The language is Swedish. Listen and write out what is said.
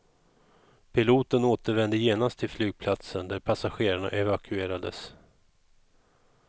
Piloten återvände genast till flygplatsen där passagerarna evakuerades.